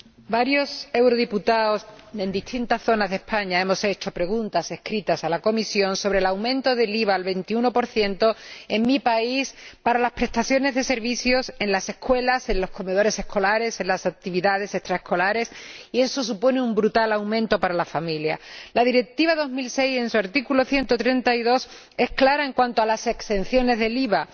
Señor Presidente, varios diputados al Parlamento Europeo de distintas zonas de España hemos presentado preguntas escritas a la Comisión sobre el aumento del IVA al 21 en mi país para las prestaciones de servicios en las escuelas, en los comedores escolares, en las actividades extraescolares, lo que supone un brutal aumento para las familias. La Directiva de 2006, en su artículo 132, es clara en cuanto a las exenciones del IVA.